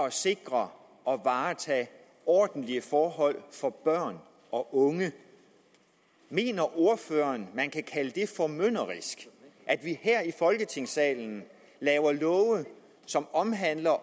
at sikre ordentlige forhold for børn og unge mener ordføreren at man kan kalde det formynderisk at vi her i folketingssalen laver love som omhandler